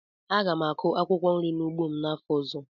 Aga m akụ akwụkwọ nri n'ugbo m n'afọ ọzọ